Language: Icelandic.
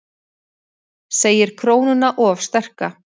Segir krónuna of sterka